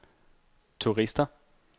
turister